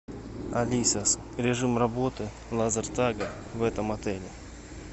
алиса режим работы лазертага в этом отеле